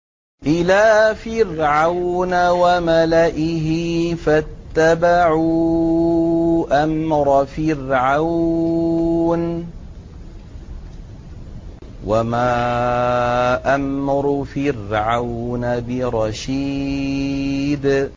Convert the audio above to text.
إِلَىٰ فِرْعَوْنَ وَمَلَئِهِ فَاتَّبَعُوا أَمْرَ فِرْعَوْنَ ۖ وَمَا أَمْرُ فِرْعَوْنَ بِرَشِيدٍ